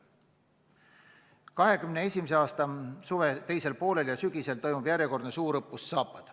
2021. aasta suve teisel poolel ja sügisel toimub järjekordne suurõppus Zapad.